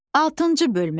Altıncı bölmə.